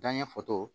Danɲɛ fotow